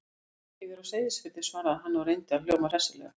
Jú, ég er á Seyðisfirði- svaraði hann og reyndi að hljóma hressilega.